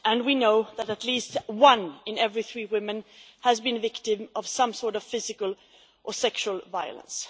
We know that at least one in every three women has been a victim of some sort of physical or sexual violence.